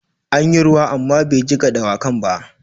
An yi ruwa amma bai jiƙa dawakan ba.